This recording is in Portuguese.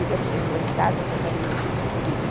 O dia que vocês forem em casa, vocês vão ver tudo isso escrito.